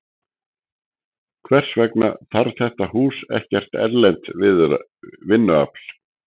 En hvers vegna þarf þetta hús ekkert erlent vinnuafl?